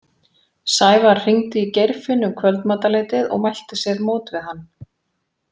Sævar hringdi í Geirfinn um kvöldmatarleytið og mælti sér mót við hann.